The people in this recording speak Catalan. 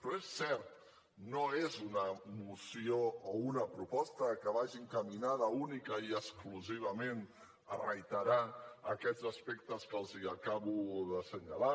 però és cert no és una moció o una proposta que vagi encaminada únicament i exclusivament a reiterar aquests aspectes que els acabo d’assenyalar